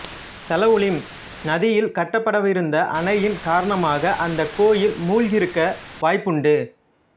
சலவுலிம் நதியில் கட்டப்படவிருந்த அணையின் காரணமாக அந்த கோயில் மூழ்கியிருக்க வாய்ப்புண்டு